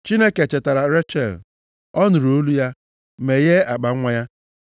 Chineke chetara Rechel. Ọ nụrụ olu ya, meghee akpanwa ya.